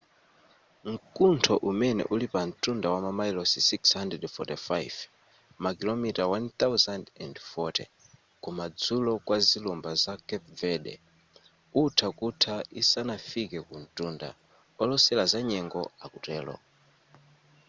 mkuntho umene uli pa ntunda wamamayilosi 645 makilomita 1040 ku madzulo kwa zilumba za carpe verde utha kutha isanafike kuntunda olosela za nyengo akutero